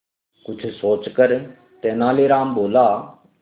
कुछ सोचकर तेनालीराम बोला